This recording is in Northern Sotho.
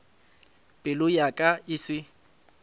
pelo ya ka e se